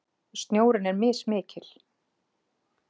Snjórinn er mismikil